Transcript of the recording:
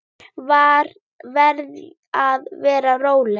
Verð að vera róleg.